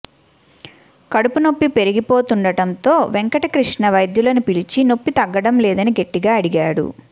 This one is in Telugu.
కడుపునొప్పి పెరిగిపోతుండడంతో వెంకటకృష్ణ వైద్యులను పిలిచి నొప్పి తగ్గడం లేదని గట్టిగా అడిగాడు